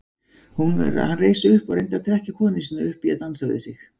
Hann reis upp og reyndi að trekkja konu sína upp í að dansa við sig.